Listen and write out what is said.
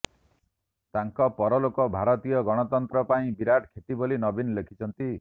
ତାଙ୍କ ପରଲୋକ ଭାରତୀୟ ଗଣତନ୍ତ୍ର ପାଇଁ ବିରାଟ କ୍ଷତି ବୋଲି ନବୀନ ଲେଖିଛନ୍ତି